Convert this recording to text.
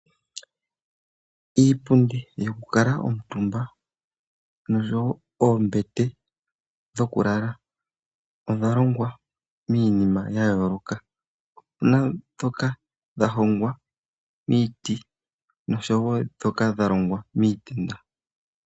Iipundi yoku kuutumba nosho woo oombete dhoku lala odha longwa miinima ya yooloka. Opuna ndhoka dha hongwa miiti nosho woo ndhoka dha longwa miitenda.